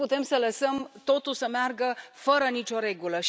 Nu putem să lăsăm totul să meargă fără nicio regulă.